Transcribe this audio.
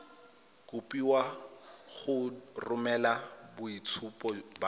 kopiwa go romela boitshupo ba